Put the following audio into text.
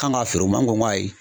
K'an' k'a feer'u ma, anw ko ŋo ayi.